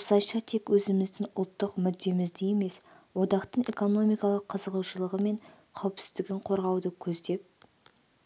осылайша тек өзіміздің ұлттық мүддемізді емес одақтың экономикалық қызығушылығы мен қауіпсіздігін қорғауды көздеп